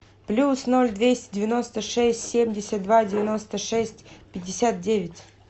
плюс ноль двести девяносто шесть семьдесят два девяносто шесть пятьдесят девять